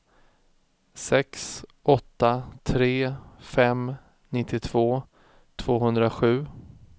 sex åtta tre fem nittiotvå tvåhundrasju